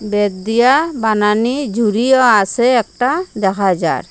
বেত দিয়া বানানি ঝুড়িও আসে একটা দেখা যার।